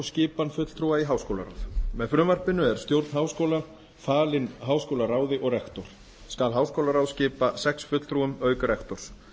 skipan fulltrúa í háskólaráð með frumvarpinu er stjórn háskóla falin háskólaráði og rektor skal háskólaráð skipað sex fulltrúum auk rektors